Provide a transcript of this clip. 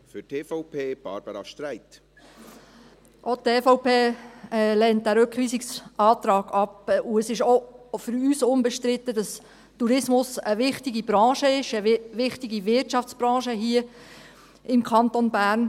Auch die EVP lehnt diesen Rückweisungsantrag ab, und es ist auch für uns unbestritten, dass Tourismus eine wichtige Branche ist, eine wichtige Wirtschaftsbranche hier im Kanton Bern.